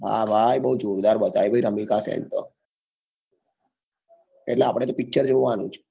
હા ભાઈ બઉ જોરદાર બતાયી ભાઈ રમિકા સિંગ તો એટલે અઆપડે તો picture જોવા નું છે